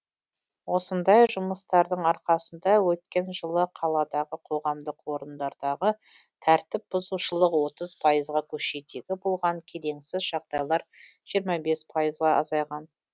осындай жұмыстардың арқасында өткен жылы қаладағы қоғамдық орындардағы тәртіп бұзушылық отыз пайызға көшедегі болған келеңсіз жағдайлар жиырма бес пайызға азайған